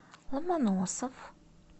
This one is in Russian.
ломоносов